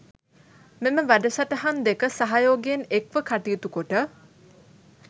මෙම වැඩසටහන් දෙක සහයෝගයෙන් එක්ව කටයුතු කොට